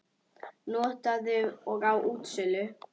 Notaður og á útsölu